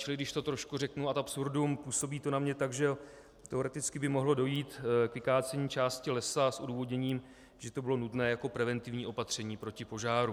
Čili když to trošku řeknu ad absurdum, působí to na mě tak, že teoreticky by mohlo dojít k vykácení části lesa s odůvodněním, že to bylo nutné jako preventivní opatření proti požáru.